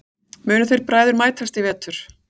Munu þeir bræður mætast í vetur?